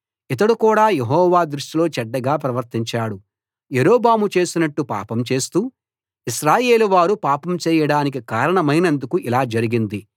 ఇతడు కూడా యెహోవా దృష్టిలో చెడ్డగా ప్రవర్తించాడు యరొబాము చేసినట్టు పాపం చేస్తూ ఇశ్రాయేలు వారు పాపం చేయడానికి కారణమైనందుకు ఇలా జరిగింది